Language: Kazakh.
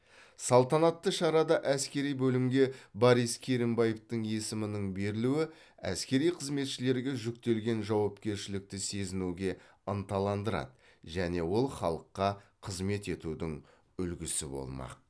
салтанатты шарада әскери бөлімге борис керімбаевтің есімінің берілуі әскери қызметшілерге жүктелген жауапкершілікті сезінуге ынталандырады және ол халыққа қызмет етудің үлгісі болмақ